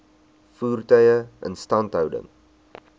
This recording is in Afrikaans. voertuie instandhouding